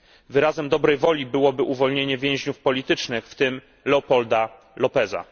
Wyrazem dobrej woli byłoby uwolnienie więźniów politycznych, w tym Leopoldo Lópeza.